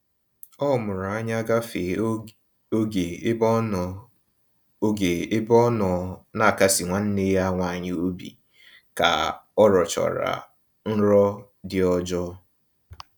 Ọ mụrụ anya gafee oge ebe ọnọ oge ebe ọnọ n'akasi nwanne ya nwaanyị obi ka ọrọchara nrọ dị ọjọọ